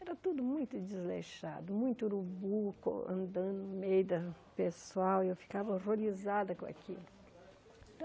Era tudo muito desleixado, muito urubu, co andando no meio do pessoal, e eu ficava horrorizada com aquilo.